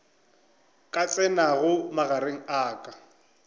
ka tsenago magareng a ka